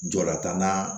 Jɔla tannan